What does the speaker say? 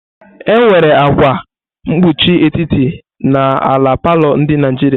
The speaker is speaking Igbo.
Enwere akwa mkpuchi etiti n'ala palọ ndị Naijiria.